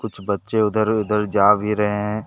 कुछ बच्चे उधर उधर जा भी रहे है।